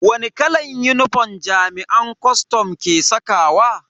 Wani kalan unifom jami'an kwastam ke sakawa?